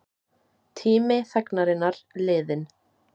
Tími þagnarinnar liðinn